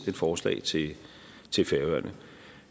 et forslag til til færøerne